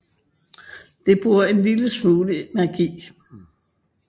Det bruger en lille smule magi